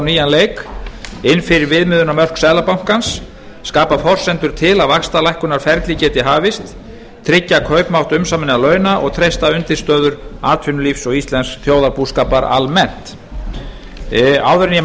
nýjan leik inn fyrir viðmiðunarmörk seðlabankans skapa forsendur til að vaxtalækkunarferli geti hafist tryggja kaupmátt umsaminna launa og treysta undirstöður atvinnulífs og íslensks þjóðarbúskapar almennt áður en ég